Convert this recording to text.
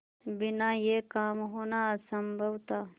बिना यह काम होना असम्भव था